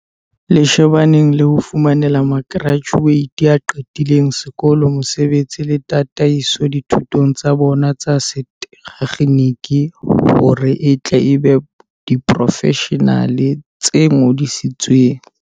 Le shebaneng le ho fumanela ma kerajuate a qetileng sekolong mosebetsi le tataiso dithutong tsa bona tsa setekgeniki hore e tle e be diporofeshenale tse ngodisitsweng.